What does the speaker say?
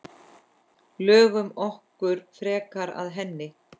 Lögum okkur frekar að henni.